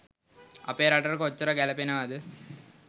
අපේ රටට කොච්චර ගැලපෙනවද